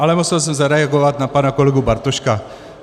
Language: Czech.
Ale musel jsem zareagovat na pana kolegu Bartoška.